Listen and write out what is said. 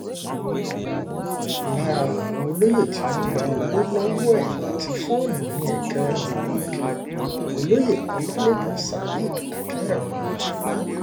lára àwọn um olóyè tí wọ́n gba owó lọ́wọ́ ẹ̀ àti fóònù ni ẹ̀kẹrin um ìlú ìkìrẹ̀ olóye ọlálẹ́kan saheed akínrẹ́mì